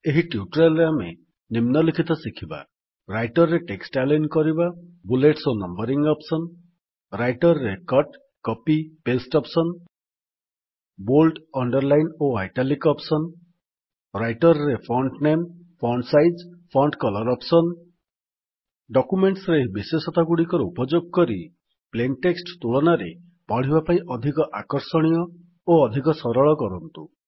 ଏହି ଟ୍ୟୁଟୋରିଆଲ୍ ରେ ଆମେ ନିମ୍ନଲିଖିତ ଶିଖିବା ରାଇଟର୍ ରେ ଟେକ୍ସଟ୍ ଆଲାଇନ୍ କରିବା ବୁଲେଟ୍ସ ଓ ନମ୍ୱରିଙ୍ଗ୍ ଅପ୍ସନ୍ ରାଇଟର୍ ରେ cut copy paste option bold underline ଓ ଆଇଟାଲିକ୍ ଅପ୍ସନ୍ ରାଇଟର୍ ରେ font name font size font colour option documents ରେ ଏହି ବିଶେଷତାଗୁଡ଼ିକର ଉପଯୋଗ କରି ପ୍ଲେନ୍ ଟେକ୍ସଟ୍ ତୁଳନାରେ ପଢ଼ିବା ପାଇଁ ଅଧିକ ଆକର୍ଷଣୀୟ ଓ ଅଧିକ ସରଳ କରନ୍ତୁ